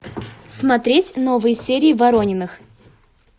смотреть новые серии ворониных